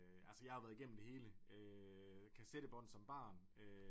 Altså jeg har jo været igennem det hele øh kassettebånd som barn